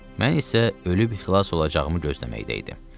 Mən isə ölüb xilas olacağımı gözləməkdə idim.